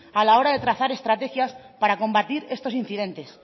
a la hora de trazar estrategias para combatir estos incidentes